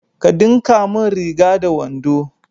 Ka dinka mun riga da wando